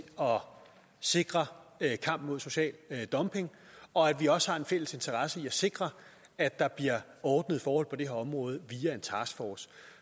sikre kampen mod social dumping og at vi også har en fælles interesse i at sikre at der bliver ordnede forhold på det her område via en taskforce